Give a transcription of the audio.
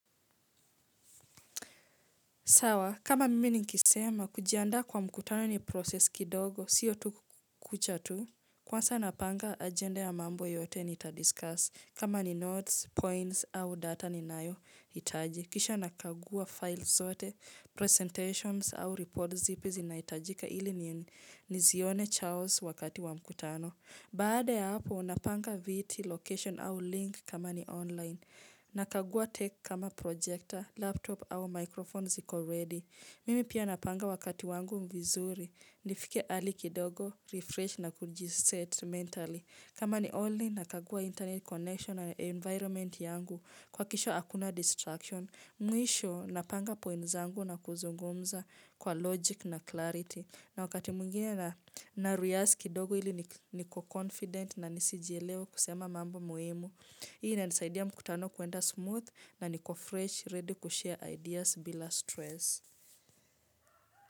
Sawa, kama mimi nikisema, kujiandaa kwa mkutano ni process kidogo, sio tu kucha tu. Kwanza napanga ajenda ya mambo yote nita-discuss. Kama ni notes, points, au data ninayohitaji. Kisha nakagua files zote, presentations au reports zipi zinahitajika ili nisione Charles wakati wa mkutano. Baada ya hapo, napanga viti location au link kama ni online. Nakagua tech kama projector, laptop au microphone ziko ready. Mimi pia napanga wakati wangu vizuri, nifike early kidogo, refresh na kujiset mentally. Kama ni only nakagua internet connection na environment yangu kuhakikisha hakuna distraction. Mwisho napanga points zangu na kuzungumza kwa logic na clarity. Na wakati mwingine na rehearse kidogo ili niko confident na nisijielewe kusema mambo muhimu. Hii inanisaidia mkutano kuenda smooth na niko fresh ready kushare ideas bila stress.